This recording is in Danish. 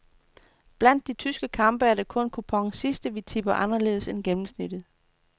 Blandt de tyske kampe er det kun kuponens sidste, vi tipper anderledes end gennemsnittet.